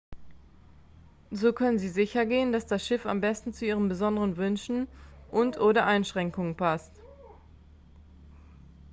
so können sie sichergehen dass das schiff am besten zu ihren besonderen wünschen und/oder einschränkungen passt